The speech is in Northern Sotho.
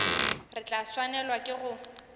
re tla swanelwa ke go